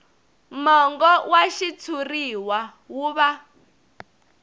mongo wa xitshuriwa wu va